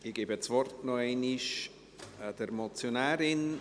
Ich gebe das Wort noch einmal der Motionärin.